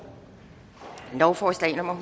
lovforslag nummer